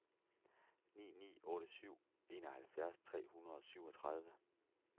ni ni otte syv enoghalvfjerds tre hundrede og syvogtredive